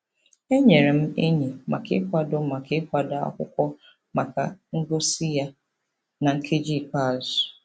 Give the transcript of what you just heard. E nyeere m enyi maka ịkwado maka ịkwado akwụkwọ maka ngosi ya na nkeji ikpeazụ.